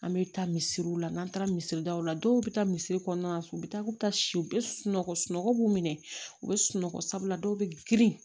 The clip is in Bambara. An bɛ taa misiriw la n'an taara misiri daw la dɔw bɛ taa misiri kɔnɔna na u bɛ taa k'u bɛ taa si u bɛ sunɔgɔ sunɔgɔ b'u minɛ u bɛ sunɔgɔ sabula dɔw bɛ girin